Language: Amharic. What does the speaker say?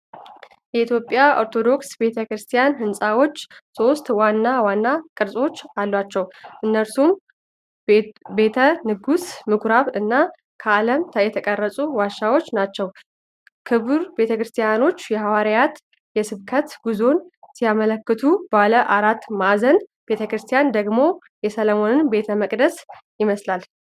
የኢትዮጵያ ኦርቶዶክስ ቤተ ክርስቲያን ሕንፃዎች ሦስት ዋና ዋና ቅርጾች አሏቸው፤ እነርሱም ቤተ ንጉሥ፣ ምኩራብ እና ከዓለት የተቀረጹ (ዋሻ) ናቸው። ክብ ቤተክርስቲያኖች የሐዋርያት የስብከት ጉዞን ሲያመለክቱ፣ ባለ አራት ማዕዘን ቤተክርስቲያኖች ደግሞ የሰሎሞንን ቤተ መቅደስ ይመስላሉ።